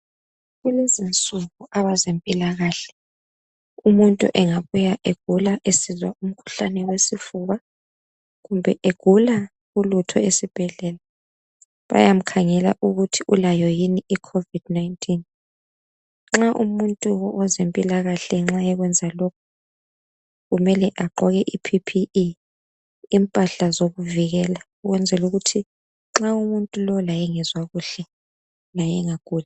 Kulezi insuku abezempilakahle umuntu engabuya egula esizwa umkhulane wesifuba kumbe egula ulutho esibhedlela bayamkhangela ukuthi ulayo yini i covid19.Nxa umuntu wezempilakahle nxa ekwenza lokhu kumele agqoke i PPE impahla zokuvikela ukwenzela ukuthi nxa umuntu lo laye engezwa kuhle laye engaguli.